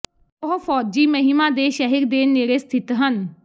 ਉਹ ਫੌਜੀ ਮਹਿਮਾ ਦੇ ਸ਼ਹਿਰ ਦੇ ਨੇੜੇ ਸਥਿਤ ਹਨ